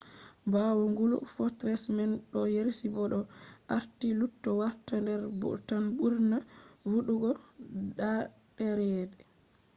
ɓawo gulu fortress man ɗo resi bo ɗo aati lutti warta der bhutan’s ɓurna voɗugo ɗaaɗere